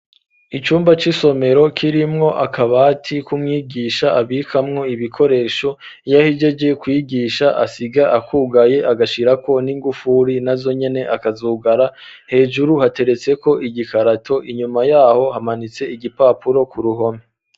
Icumba c'isomero ,kirimwo akabati kumwigisha ,abikamwo ibikoresho yahejeje kubigisha asiga akugaye, agashirako n'ingufuri, na zonyene akazugara, hejuru hateretse ko igikarato, inyuma yaho hamanitse igipapuro, ku ruhome.